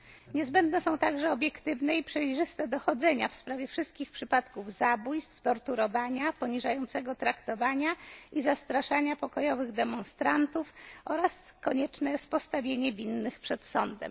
Niezbędne są także obiektywne i przejrzyste dochodzenia w sprawie wszystkich przypadków zabójstw, torturowania, poniżającego traktowania i zastraszania pokojowych demonstrantów oraz konieczne jest postawienie winnych przed sądem.